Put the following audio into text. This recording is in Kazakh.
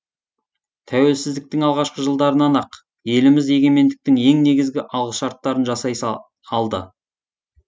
тәуелсіздіктің алғашқы жылдарынан ақ еліміз егемендіктің ең негізгі алғы шарттарын жасай алды